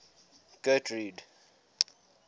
getrude